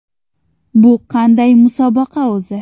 Bu qanday musobaqa o‘zi?